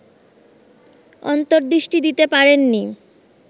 অন্তর্দৃষ্টি দিতে পারেননি